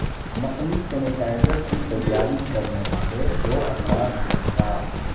نقلی سینیٹائزر کی تیاری کرنے والے دو افراد گرفتار